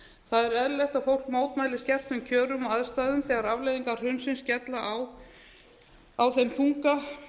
það er eðlilegt að fólk mótmæli skertum kjörum og aðstæðum þegar afleiðingar hrunsins skella á þeim þunga